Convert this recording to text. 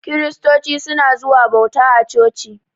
Kiristoci suna zuwa bauta a coci.